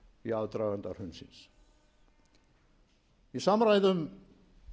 í aðdraganda hrunsins í samræðum